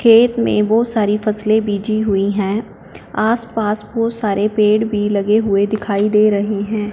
खेत में बहोत सारी फैसले बिजी हुईं हैं आसपास बहोत सारे पेड़ भी लगे हुए दिखाई दे रहे हैं।